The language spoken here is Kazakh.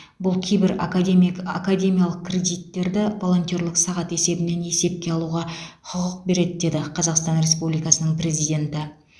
бұл кейбір академик академиялық кредиттерді волонтерлік сағат есебінен есепке алуға құқық береді деді қазақстан республикасының президенті